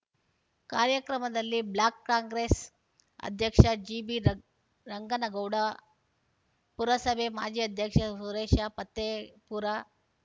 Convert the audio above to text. ಕಾರ್ಯಕ್ರಮದಲ್ಲಿ ಬ್ಲಾಕ್ ಕಾಂಗ್ರೆಸ್ ಅಧ್ಯಕ್ಷ G B ರಂಗ್ ರಂಗನಗೌಡ ಪುರಸಭೆ ಮಾಜಿ ಅಧ್ಯಕ್ಷ ಸುರೇಶ ಪತ್ತೇಪೂರ